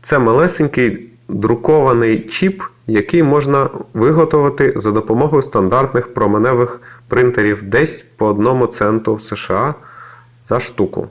це малесенький друкований чіп який можна виготовити за допомогою стандартних променевих принтерів десь по одному центу сша за штуку